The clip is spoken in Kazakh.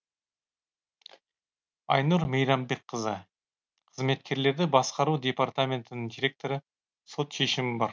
айнұр мейрамбекқызы қызметкерлерді басқару департаментінің директоры сот шешімі бар